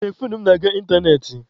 Ee, foonu m na-aga ịntanetị.